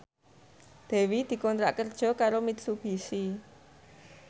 Dewi dikontrak kerja karo Mitsubishi